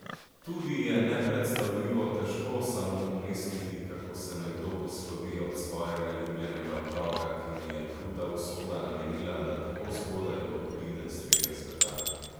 Tudi je nepredstavljivo težko samo pomisliti, kako se nekdo poslovi od svojega ljubljenega otroka, ki mu je kruta usoda namenila, da tako zgodaj odide s tega sveta.